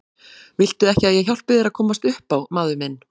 Viltu ekki að ég hjálpi þér að komast upp á maður minn.